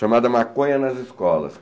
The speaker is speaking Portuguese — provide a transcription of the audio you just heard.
Chamada Maconha nas Escolas.